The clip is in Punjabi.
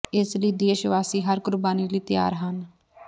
ਇਸ ਲਈ ਦੇਸ਼ ਵਾਸੀ ਹਰ ਕੁਰਬਾਨੀ ਲਈ ਤਿਆਰ ਹਨ